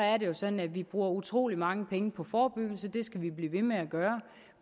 er det jo sådan at vi bruger utrolig mange penge på forebyggelse det skal vi blive ved med at gøre